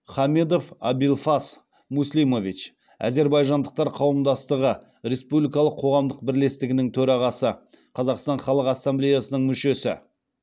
хамедов абилфас муслимович әзербайжандықтар қауымдастығы республикалық қоғамдық бірлестігінің төрағасы қазақстан халық ассамблеясының мүшесі